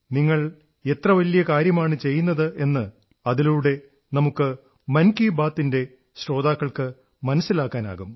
നിങ്ങളെത്ര വലിയ മുന്നേറ്റമാണ് നടത്തുന്നതെന്ന് അതിലൂടെ നമ്മുടെ മൻ കീ ബാത് ന്റെ ശ്രോതാക്കൾക്ക് മനസ്സിലാക്കാനാകും